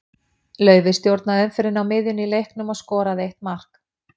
Laufey stjórnaði umferðinni á miðjunni í leiknum og skoraði eitt mark.